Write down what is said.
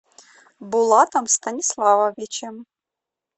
булатом станиславовичем